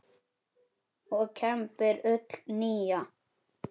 og kembir ull nýja.